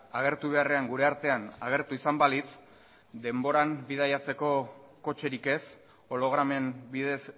agertu beharrean gure artean agertu izan balitz denboran bidaiatzeko kotxerik ez hologramen bidez